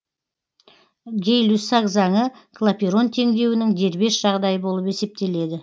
гей люссак заңы клапейрон теңдеуінің дербес жағдайы болып есептеледі